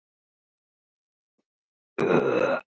Bjuggu þau að Undirfelli í Vatnsdal.